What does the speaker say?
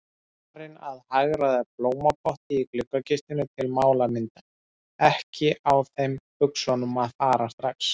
Farin að hagræða blómapotti í gluggakistunni til málamynda, ekki á þeim buxunum að fara strax.